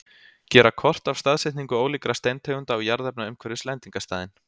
Gera kort af staðsetningu ólíkra steintegunda og jarðefna umhverfis lendingarstaðinn.